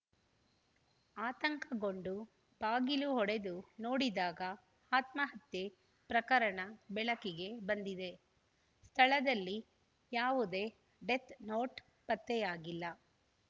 ಆತಂಕಗೊಂಡು ಬಾಗಿಲು ಒಡೆದು ನೋಡಿದಾಗ ಆತ್ಮಹತ್ಯೆ ಪ್ರಕರಣ ಬೆಳಕಿಗೆ ಬಂದಿದೆ ಸ್ಥಳದಲ್ಲಿ ಯಾವುದೇ ಡೆತ್‌ನೋಟ್‌ ಪತ್ತೆಯಾಗಿಲ್ಲ